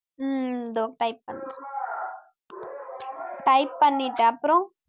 உம் இதோ type பண்றேன் type பண்ணிட்டேன் அப்புறம்